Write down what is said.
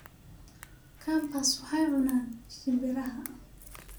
Kambas waxay cunan shimbiraha